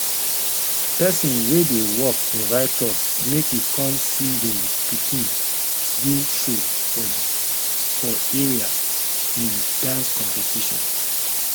pesin wey dey work invite us make we come see him pikin do show for for area in dance competition